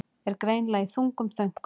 Er greinilega í þungum þönkum.